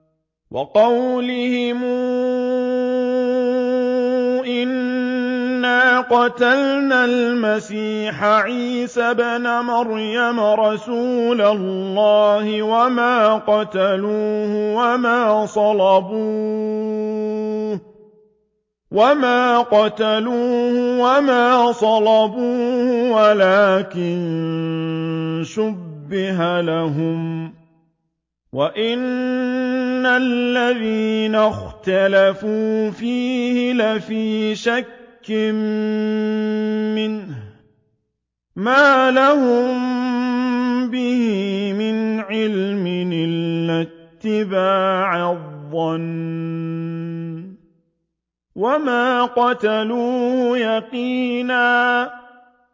وَقَوْلِهِمْ إِنَّا قَتَلْنَا الْمَسِيحَ عِيسَى ابْنَ مَرْيَمَ رَسُولَ اللَّهِ وَمَا قَتَلُوهُ وَمَا صَلَبُوهُ وَلَٰكِن شُبِّهَ لَهُمْ ۚ وَإِنَّ الَّذِينَ اخْتَلَفُوا فِيهِ لَفِي شَكٍّ مِّنْهُ ۚ مَا لَهُم بِهِ مِنْ عِلْمٍ إِلَّا اتِّبَاعَ الظَّنِّ ۚ وَمَا قَتَلُوهُ يَقِينًا